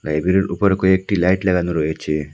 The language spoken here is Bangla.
লাইব্রেরির উপরে কয়েকটি লাইট লাগানো রয়েছে।